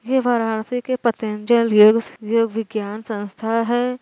यव वाराणसी के पतंजल योग योग विज्ञान संस्था है।